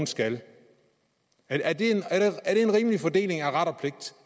skal er det en rimelig fordeling af ret og pligt